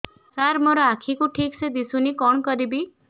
ସାର ମୋର ଆଖି କୁ ଠିକସେ ଦିଶୁନି କଣ କରିବି